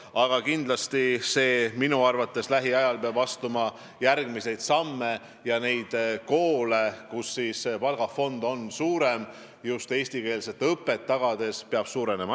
Aga kindlasti peab minu arvates lähiajal astuma järgmiseid samme ja neid koole, kus palgafond on suurem just eestikeelse õppe tagamiseks, peab rohkem olema.